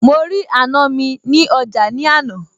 mo rí àna mi nih ọjà ní àná